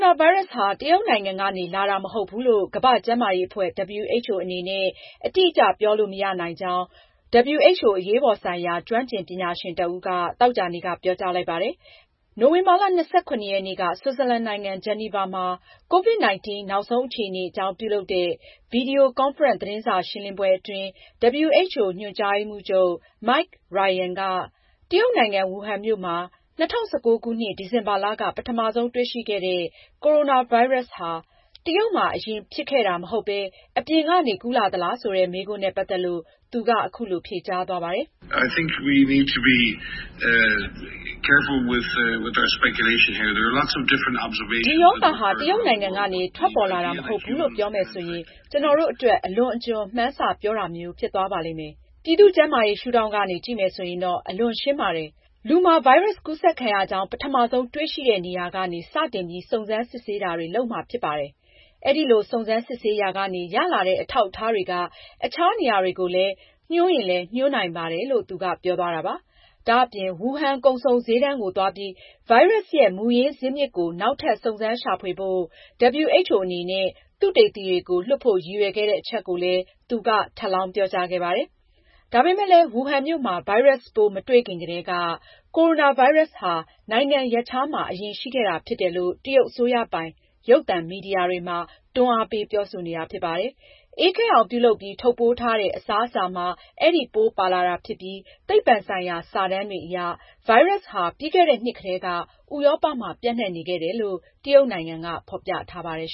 ာဗိုင်းရပ်စ်ဟာ တရုတ်နိုင်ငံကနေ လာတာမဟုတ်ဘူးလို့ကမ္ဘာ့ကျန်းမာရေးအဖွဲ့ WHO အနေနဲ့ အတိအကျပြောလို့ မရကြောင်း WHO အရေးပေါ်ဆိုင်ရာ ကျွမ်းကျင်ပညာရှင်တဦးက သောကြာနေ့က ပြောကြားလိုက်ပါတယ်။ နိုဝင်ဘာလ ၂၇ ရက်နေ့က ဆွစ်ဇာလန်နိုင်ငံ ဂျီနီဗာမှာ ကိုဗစ်-၁၉ နောက်ဆုံးအခြေအနေအကြောင်း ပြုလုပ်တဲ့ ဗွီဒီယိုကွန်ဖရင့် သတင်းစာရှင်းလင်းပွဲအတွင်း WHO ညွန်ကြားရေးမှူးချုပ် Mike Ryan က တရုတ်နိုင်ငံ ဝူဟန်မြို့မှာ ၂၀၁၉ ခုနှစ် ဒီဇင်ဘာလက ပထမဆုံးတွေ့ရှိခဲ့တဲ့ ကိုရိုနာဗိုင်းရပ်စ်ဟာ တရုတ်မှာ အရင်ဖြစ်ခဲ့တာမဟုတ်ပဲ အပြင်ကနေ ကူးလာသလားဆိုတဲ့ မေးခွန်းနဲ့ ပတ်သက်လို့ သူက အခုလို ဖြေကြားသွားပါတယ်။ ” ဒီရောဂါဟာ တရုတ်နိုင်ငံကနေ ထွက်ပေါ်လာတာမဟုတ်ဘူးလို့ ပြောမယ်ဆိုရင် ကျနော်တို့အတွက် အလွန်အကျွံ မှန်းဆပြောတာမျိုး ဖြစ်သွားပါလိမ့်မယ်။ ပြည်သူ့ကျန်းမာရေး ရှုထောင့်ကနေကြည့်မယ်ဆိုရင်တော့ အလွန်ရှင်းပါတယ်။ လူမှာ ဗိုင်းရပ်စ်ကူးစက်ခံရကြောင်း ပထမဆုံးတွေ့ရှိတဲ့နေရာကနေ စတင်ပြီး စုံစမ်းစစ်ဆေးတာတွေ လုပ်မှာဖြစ်ပါတယ်။ အဲဒီလို စုံစမ်းစစ်ဆေးရာကနေ ရလာတဲ့ အထောက်အထားတွေက အခြားနေရာတွေကိုညွန်းရင်လည်း ညွန်းနိုင်ပါတယ်။” ဒါအပြင် Wuhan ကုန်စုံ ဈေးတန်းကိုသွားပြီး ဗိုင်းရပ်စ်ရဲ့ မူရင်းဇစ်မြစ်ကို နောက်ထပ် စုံစမ်းရှာဖွေဖို့ WHO အနေနဲ့ သုတေသီတွေကို လွှတ်ဖို့ ရည်ရွယ်ခဲ့တဲ့အချက်ကိုလည်း သူက ထပ်လောင်းပြောကြားခဲ့ပါတယ်။ ဒါပေမဲ့လည်း ဝူဟန်မြို့မှာ ဗိုင်းရပ်စ်ပိုး မတွေ့ခင်ကတည်းက ကိုရိုနာဗိုင်းရပ်စ်ဟာ နိုင်ငံရပ်ခြားမှာ အရင်ရှိခဲ့တာဖြစ်တယ်လို့ တရုတ်အစိုးရ ပိုင်ရုပ်သံမီဒီယာတွေမှာ တွန်းအားပေးပြောဆိုနေတာဖြစ်ပါတယ်။ အေးခဲအောင်ပြုလုပ်ပြီး ထုတ်ပိုးထားတဲ့ အစားအစာမှာ အဲဒီပိုးပါလာတာဖြစ်ပြီး သိပ္ပ္ပံဆိုင်ရာ စာတမ်းတွေအရ လည်း ဗိုင်းရပ်စ်ဟာ ပြီးခဲ့တဲ့နှစ် ကတည်းက ဥရောပမှာ ပျံ့နှံ့နေခဲ့တယ်လို့ တရုတ်နိုင်ငံက ဖေါ်ပြထားပါတယ်